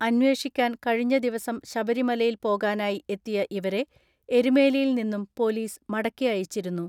അന്വേഷിക്കാൻ കഴിഞ്ഞ ദിവസം ശബരിമലയിൽ പോകാനായി എത്തിയ ഇവരെ എരുമേലിയിൽ നിന്നും പൊലീസ് മടക്കി അയച്ചിരുന്നു.